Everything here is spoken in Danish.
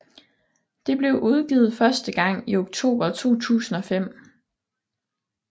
Det blev udgivet første gang i oktober 2005